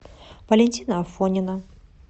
валентина афонина